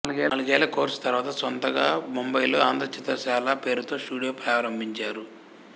నాలుగేళ్ళ కోర్సు తర్వాత స్వంతంగా ముంబయిలో ఆంధ్ర చిత్రశాల పేరుతో స్టుడియో ప్రారంభించారు